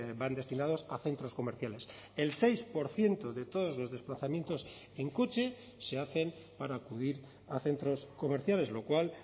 van destinados a centros comerciales el seis por ciento de todos los desplazamientos en coche se hacen para acudir a centros comerciales lo cual